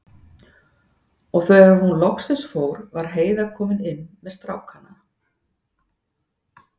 Og þegar hún loksins fór var Heiða komin inn með strákana.